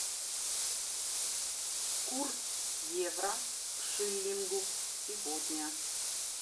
курс евро к шиллингу сегодня